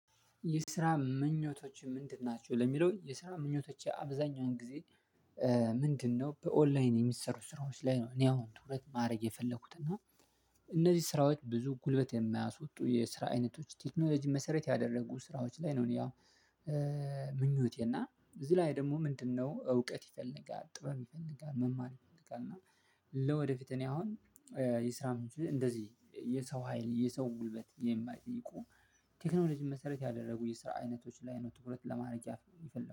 የስራ ምኞቶችህ ምንድን ናቸው? ለሚለው የስራ ምኞቶቼ አብዛኛውን ጊዜ ምንድነው በኦንላይን የሚሰሩ ስራዎች ላይ ነው እኔ አሁን ትኩረት ማድረግ የፈለኩት። እና እነዚህ ስራዎች ብዙ ጉልበት የማያስወጡ የስራ አይነቶች ቴክኖሎጂ መሰረት ያደረጉ ስራዎች ላይ ነው እኔ ያው ምኞቴ። እና እዚህ ላይ ደግሞ ምንድነው እውቀት ይፈልጋል ጥበብ ይፈልጋል መማር ይፈልጋል። እና ለወደፊት እኔ አሁን እንደዚህ የሰው ሀይል የሰው ጉልበት የማይጠይቁ ቴክኖሎጂን መሰረት ያደረጉ የስራ አይነቶች ላይ ነው ትኩረት ለማረግ የፈለኩት።